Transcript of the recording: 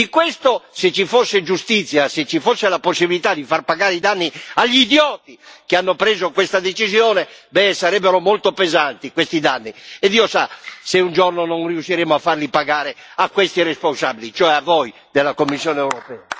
E di questo, se ci fosse giustizia, se ci fosse la possibilità di far pagare i danni agli idioti che hanno preso questa decisione, sarebbero molto pesanti questi danni, e Dio sa se un giorno non riusciremo a farli pagare a questi responsabili, cioè a voi della Commissione europea.